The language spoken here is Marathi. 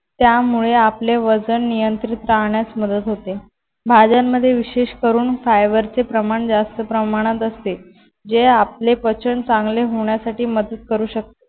त्यामुळे आपले वजन नियंत्रित करण्यास मदत होते. भाज्यांमध्ये विशेष करून फायबरचे प्रमाण जास्त प्रमाणात असते. जे आपले पचन चांगले होण्यासाठी मदत करू शकते.